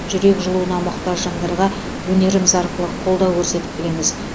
жүрек жылуына мұқтаж жандарға өнеріміз арқылы қолдау көрсетіп келеміз